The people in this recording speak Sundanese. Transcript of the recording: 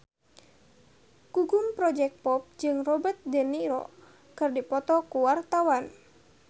Gugum Project Pop jeung Robert de Niro keur dipoto ku wartawan